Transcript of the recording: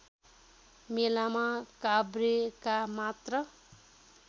मेलामा काभ्रेका मात्र